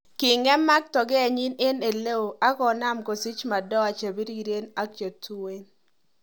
Ki gemak togenyin eng eleo akonam kosich madoa chepiriren ak chetuen.